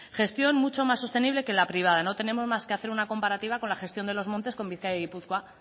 gestión mucho más sostenible que la privada no tenemos más que hacer una comparativa con la gestión de los montes con bizkaia y gipuzkoa